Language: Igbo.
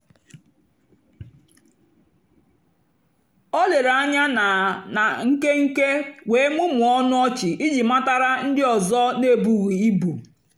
o lèrè ànyá na na nkénkè wéé mụ́mụ́ọ́ ọnụ́ ọ́chị́ ijì matàra ndí ọ́zọ́ n'èbùghị́ ìbù.